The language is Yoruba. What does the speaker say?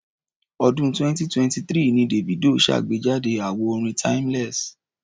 Ọ̀dún 2023 ni Davido ṣàgbejáde àwo orin Timeless.